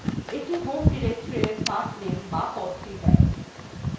এটি home directoryএর pathname বা পথটি দেয়